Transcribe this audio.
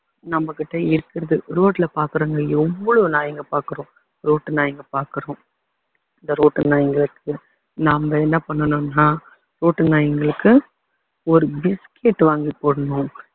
நம்மகிட்ட இருக்குறது road ல பாக்குறோங்க எவ்வளவு நாய்ங்க பாக்குறோம் ரோட்டு நாய்ங்க பாக்குறோம் இந்த ரோட்டு நாய்களுக்கு நம்ம என்ன பண்ணனும்னா ரோட்டு நாய்களுக்கு ஒரு biscuit வாங்கி போடணும்